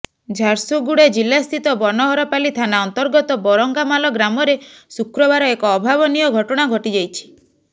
ଝାରସୁଗୁଡ଼ା ଜିଲ୍ଲାସ୍ଥିତ ବନହରପାଲି ଥାନା ଅନ୍ତର୍ଗତ ବରଙ୍ଗାମାଲ ଗ୍ରାମରେ ଶୁକ୍ରବାର ଏକ ଅଭାବନୀୟ ଘଟଣା ଘଟିଯାଇଛି